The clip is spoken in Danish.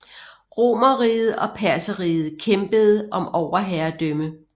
Romerriget og Perserriget kæmpede om overherredømme